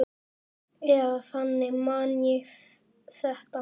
Eða þannig man ég þetta.